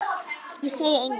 Ég segi engum.